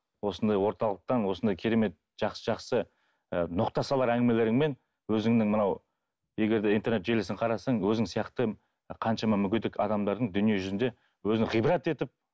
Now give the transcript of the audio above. осындай орталықтан осындай керемет жақсы жақсы ы ноқта салар әңгімелеріңмен өзіңнің мынау егер де интернет желісін қарасаң өзің сияқты қаншама мүгедек адамдардың дүние жүзінде өзін гибрат етіп